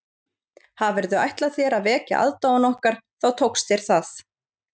Hafirðu ætlað þér að vekja aðdáun okkar þá tókst þér það